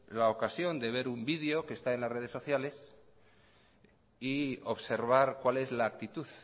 la ocasión de ver un video que está en las redes sociales y observar cuál es la actitud